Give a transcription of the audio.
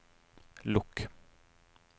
lukk